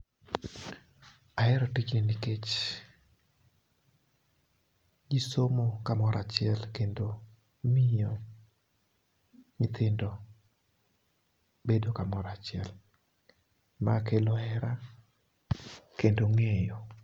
Ahero tijni nikech jii somo kamoro achiel kendo miyo nyithindo bedo kamoro achiel. Ma kelo hera kendo ng'eyo.